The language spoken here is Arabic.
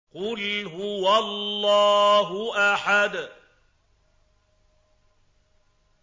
قُلْ هُوَ اللَّهُ أَحَدٌ